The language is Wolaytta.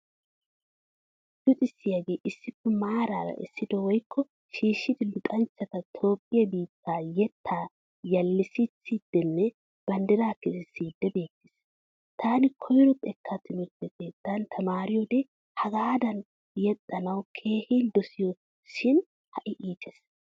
Luxissiyaagee issippe maaraara essidi woykko shiishshidi luxanchchata toophphiya biittaa yettaa yellissiidsinee banddiraa kesissiiddi beettes. Taani koyro xekkaa tumirtte keettan tamaariyoode hagadan yexxanawu keehin dosayis shin ha'i iites.